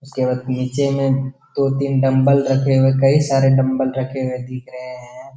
उसके बाद नीचे में दो-तीन डंबल रखे हुए कई सारे डंबल रखे हुए दिख रहे हैं।